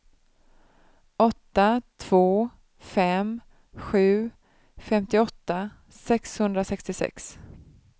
åtta två fem sju femtioåtta sexhundrasextiosex